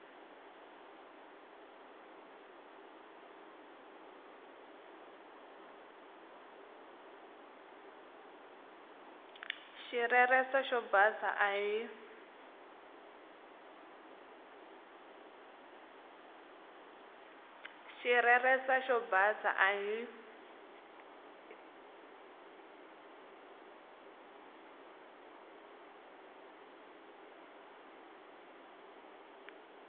xireresa xo basa a hi